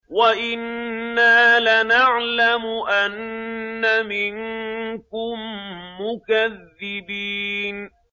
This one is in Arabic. وَإِنَّا لَنَعْلَمُ أَنَّ مِنكُم مُّكَذِّبِينَ